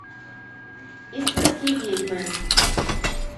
иствикские ведьмы